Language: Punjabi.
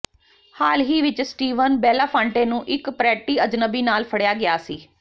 ਹਾਲ ਹੀ ਵਿਚ ਸਟੀਵਨ ਬੇਲਾਫਾਂਟੇ ਨੂੰ ਇੱਕ ਪਰੈਟੀ ਅਜਨਬੀ ਨਾਲ ਫੜਿਆ ਗਿਆ ਸੀ